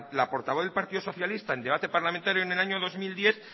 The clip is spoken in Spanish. la portavoz del partido socialista en debate parlamentario en el año dos mil diez